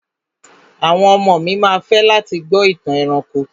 Àwọn ọmọ mi ma fẹ́ láti gbọ́ ìtàn ẹranko.